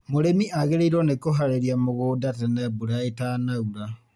Mūrīmi agīrīirwo nī kūharīria mūgūnda tene mbura īta naura.